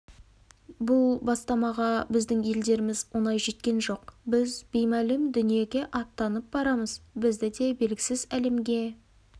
бұл бастамаға біздің елдеріміз оңай жеткен жоқ біз беймәлім дүниеге аттанып барамыз бізді де белгісіз әлемге